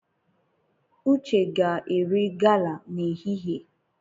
Uche ga-eri gala n'ehihie.